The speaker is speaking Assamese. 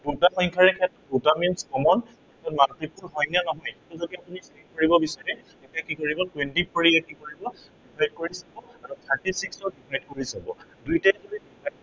দুটা সংখ্য়াৰে, দুটা means common multiple হয় নে নহয়, সেইটো যদি আপুনি check কৰিব বিচাৰে তেতিয়া কি কৰিব twenty four এ ইয়াক কি কৰিব thirty six ক add কৰি যাব। দুইটাই যদি